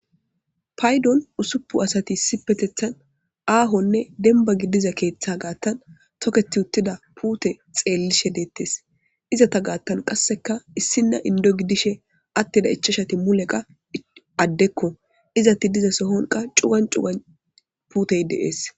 Paydon ussufun asati Issipetethan ahonne denba gidiza ketha gathan toketi utida pute xelishe detese izeta gathan qasekka issina indo gidishin atida ichachati mulekka adekko izeti diza sohon cugan cugan putey de'ese